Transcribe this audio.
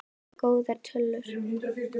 Þetta eru góðar tölur.